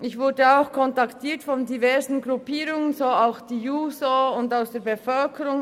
Ich wurde von diversen Gruppierungen wie der JUSO kontaktiert.